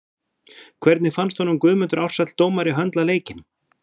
Hvernig fannst honum Guðmundur Ársæll dómari höndla leikinn?